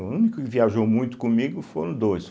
O único que viajou muito comigo foram dois.